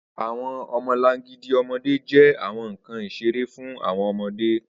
Awọn ọmọlangidi ọmọde jẹ awọn nkan isere fun awọn ọmọde